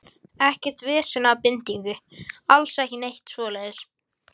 Ekkert vesen eða bindingu, alls ekki neitt svoleiðis.